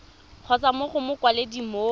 kgotsa mo go mokwaledi mo